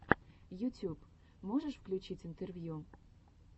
ютюб можешь включить интервью